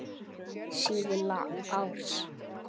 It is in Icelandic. Síðla árs.